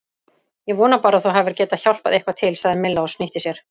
Ég vona bara að þú hafir getað hjálpað eitthvað til sagði Milla og snýtti sér.